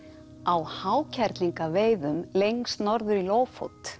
á lengst norður í